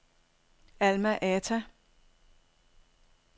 Alma-Ata